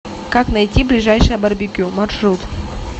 как найти ближайшее барбекю маршрут